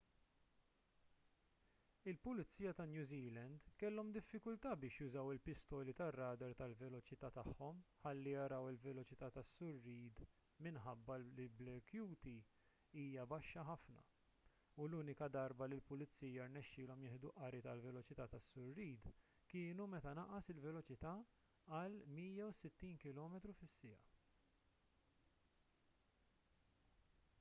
il-pulizija ta' new zealand kellhom diffikultà biex jużaw il-pistoli tar-radar tal-veloċità tagħhom ħalli jaraw il-veloċità tas-sur reid minħabba li black beauty hija baxxa ħafna u l-unika darba li l-pulizija rnexxielhom jieħdu qari tal-veloċità tas-sur reid kien meta naqqas il-veloċità għal 160km/siegħa